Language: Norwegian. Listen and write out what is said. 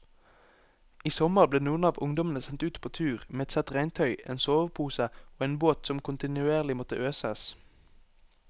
I sommer ble noen av ungdommene sendt ut på tur med ett sett regntøy, en sovepose og en båt som kontinuerlig måtte øses.